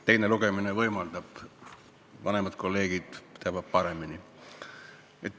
Teine lugemine seda võimaldab, vanemad kolleegid teavad paremini.